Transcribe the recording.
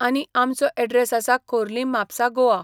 आनी आमचो एड्रेस आसा खोर्लीम म्हापसा गोआ.